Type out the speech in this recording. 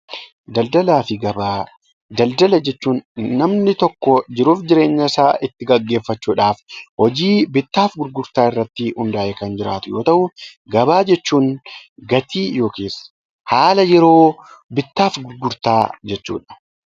Daldala jechuun namni tokko daldala isaa itti gaggeeffachuudhaaf hojii bittaa fi gurgurtaa irratti hundaayee jiraatu yoo ta'u, gabaa jechuun gatii yookaan haala yeroo bittaa fi gurgurtaa jechuudha.